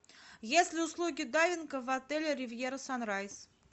есть ли услуги дайвинга в отеле ривьера санрайз